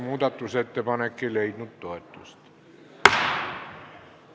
Muudatusettepanek ei leidnud toetust.